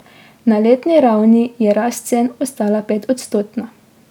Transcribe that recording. Na letni ravni je rast cen ostala petodstotna.